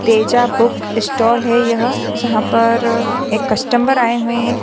Teja book stall है यह जहा पर एक कस्टमर आए हुए है।